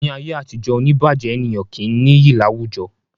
Ní ayé àtijó, oní ìbàjé ènìyàn kì í nìyí láwùjọ